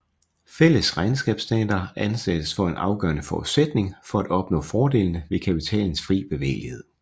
Fælles regnskabsstandarder anses for en afgørende forudsætning for at opnå fordelene ved kapitalens fri bevægelighed